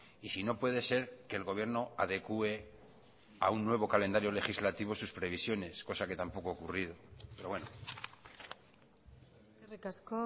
y si no puede ser que el gobierno adecue a un nuevo calendario legislativo sus previsiones cosa que tampoco ha ocurrido pero bueno eskerrik asko